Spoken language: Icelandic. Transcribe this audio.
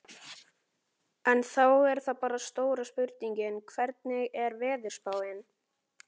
En þá er það bara stóra spurningin, hvernig er veðurspáin?